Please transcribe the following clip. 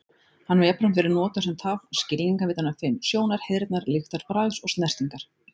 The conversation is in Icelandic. Hann hefur jafnframt verið notaður sem tákn skilningarvitanna fimm: Sjónar, heyrnar, lyktar, bragðs og snertingar.